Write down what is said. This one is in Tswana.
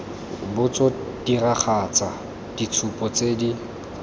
botso diragatsa ditshupo tse di